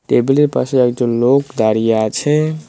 টেবিলের পাশে একজন লোক দাঁড়িয়ে আছে।